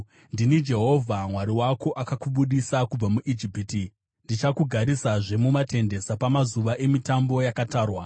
“Ndini Jehovha Mwari wako, akakubudisa kubva muIjipiti; ndichakugarisazve mumatende, sapamazuva emitambo yakatarwa.